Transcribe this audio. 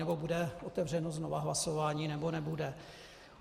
Nebo bude otevřeno znovu hlasování, nebo nebude?